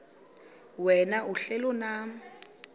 wena uhlel unam